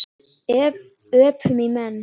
Öpum í menn.